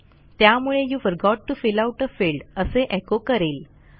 त्यामुळे you forgot TO fill out a field असे एको करेल